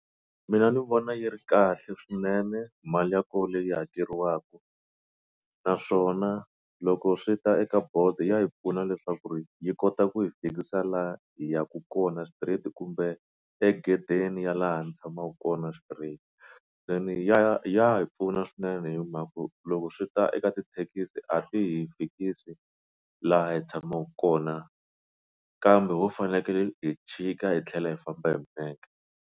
Mina ni vona yi ri kahle swinene mali ya koho leyi hakeriwaka naswona loko swi ta eka bolt ya hi pfuna leswaku ri yi kota ku yi fikisa la hi ya ka kona straight kumbe egedeni ya laha ni tshamaka kona straight se ni ya ya hi pfuna swinene hi mhaka ku loko swi ta eka tithekisi a ti hi fikisi laha hi tshamaka kona kambe ho fanekele hi chika hi tlhela hi famba hi milenge.